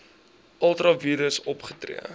ultra vires opgetree